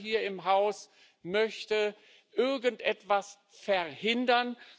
Keiner hier im Haus möchte irgendetwas verhindern.